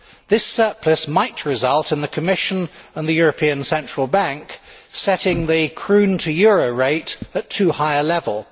This surplus might result in the Commission and the European Central Bank setting the kroon euro rate at too high a level.